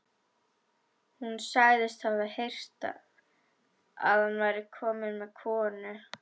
Hún sagðist hafa heyrt að hann væri kominn með konu.